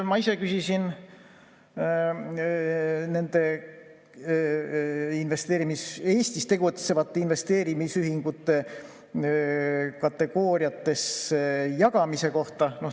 Ma ise küsisin Eestis tegutsevate investeerimisühingute kategooriatesse jagamise kohta.